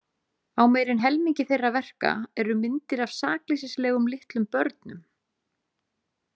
Á meira en helmingi þeirra verka eru myndir af sakleysislegum litlum börnum.